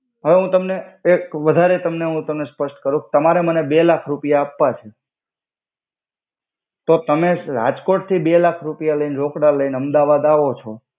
હવે હુ તમને એક વધારે તમને હુ તમને સ્પસ્ટ કરુ તમારે મને બે લાખ રુપિયા આપ્વા છે તો તમે રાજ્કોત થી બે લાખ રુપિયા લઈ ન રોકડા લઈન અમ્દાવાદ આવો છો.